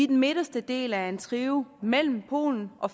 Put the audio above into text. den midterste del af en trio mellem polen og